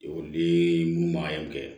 Ekɔliden mun manɲi kɛ